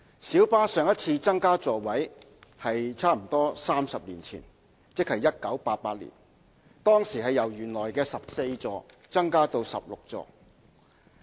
小巴對上一次增加座位數目差不多是在30年前，即1988年，當時由原來的14座增加至16座。